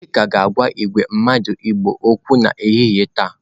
Chika ga-agwa igwe mmadu igbo okwu n'ehihie taa.